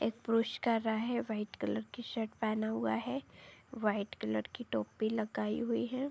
एक पुरुष खड़ा है। वाइट कलर की शर्ट पहना हुआ है। वाइट कलर की टोपी लगाई हुई है।